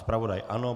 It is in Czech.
Zpravodaj ano.